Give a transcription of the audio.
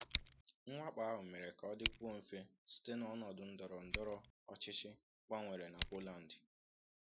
Mwakpo ahụ mere ka ọ dịkwuo mfe site n’ọnọdụ ndọrọ ndọrọ ọchịchị gbanwere na Poland.